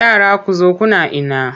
Yara ku zo kuna ina!